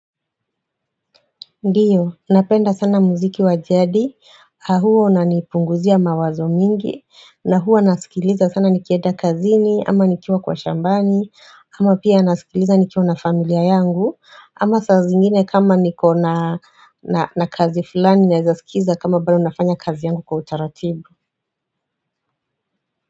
Ndiyo, napenda sana muziki wajadi, ahuwa una nipunguzia mawazo mingi, na huwanasikiliza sana nikienda kazini, ama nikiwa kwa shambani, ama pia nasikiliza nikiwa na familia yangu, ama saa zingine kama nikona na kazi fulani naezaskiza kama bado nafanya kazi yangu kwa utaratibu.